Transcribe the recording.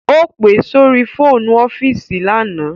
Ó pe sórí fóònù ọ́fíìsì lánàá